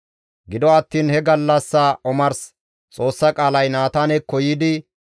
Gido attiin he gallassa omars Xoossa qaalay Naataanekko yiidi,